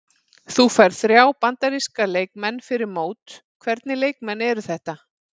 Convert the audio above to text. Þú færð þrjá Bandaríska leikmenn fyrir mót, hvernig leikmenn eru þetta?